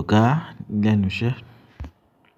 ọ̀gá, ń lẹnu iṣẹ́.